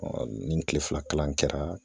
ni kile fila kalan kɛra